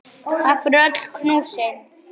Takk fyrir öll knúsin.